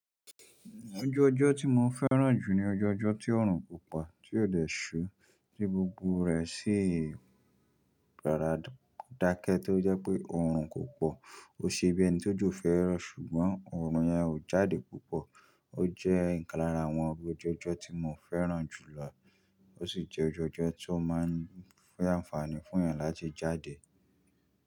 Ọju ọjọ́ tí mo fẹ́ràn jù ni ọju ọjọ́ tí òòrùn kó pọ, tí ó dẹ̀ ṣú, tí gbogbo rẹ̀ sì gbára dákẹ́ tó jẹ́ pé òòrùn kò pọ̀. O ṣe bí ẹni tó jo fẹ́rọ, ṣùgbọ́n òòrùn yẹn ò jáde púpọ̀. O jẹ́ ìkan lára àwọn ọju ọjọ́ tí mo fẹ́ràn jù lọ. Ó sì jẹ́ ọju ọjọ́ tó máa ń fún àǹfààní fún ènìyàn láti jáde.